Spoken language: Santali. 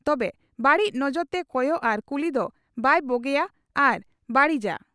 ᱛᱚᱵᱮ ᱵᱟᱹᱲᱤᱡ ᱱᱚᱡᱚᱨ ᱛᱮ ᱠᱚᱭᱚᱜ ᱟᱨ ᱠᱩᱞᱤ ᱫᱚ ᱵᱟᱭ ᱵᱚᱜᱮᱭᱟ ᱟᱨ ᱵᱟᱜᱲᱤᱡᱟ ᱾